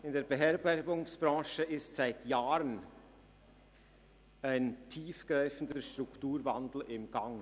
In der Beherbergungsbranche ist seit Jahren ein tiefgreifender Strukturwandel im Gang.